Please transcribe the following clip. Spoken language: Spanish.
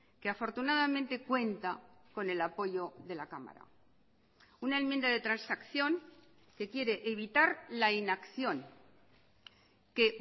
que afortunadamente cuenta con el apoyo de la cámara una enmienda de transacción que quiere evitar la inacción que